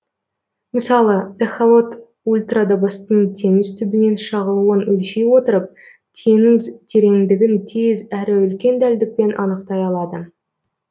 мысалы эхолот ультрадыбыстың теңіз түбінен шағылуын өлшей отырып теңіз тереңдігін тез әрі үлкен дәлдікпен анықтай алады